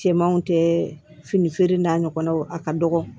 Cɛmanw tɛ fini feere n'a ɲɔgɔnnaw a ka dɔgɔ